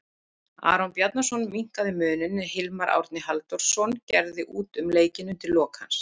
Aron Bjarnason minnkaði muninn en Hilmar Árni Halldórsson gerði út um leikinn undir lok hans.